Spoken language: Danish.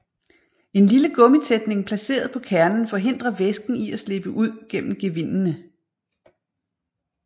En lille gummitætning placeret på kernen forhindrer væsken i at slippe ud gennem gevindene